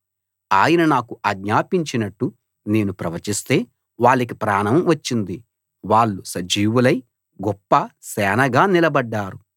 ఆయన నాకు ఆజ్ఞాపించినట్టు నేను ప్రవచిస్తే వాళ్ళకి ప్రాణం వచ్చింది వాళ్ళు సజీవులై గొప్ప సేనగా నిలబడ్డారు